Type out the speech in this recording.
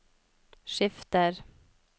skifter